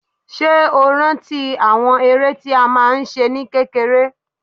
Ṣé o rántí àwọn eré tí a máa ń ṣe ní kékeré?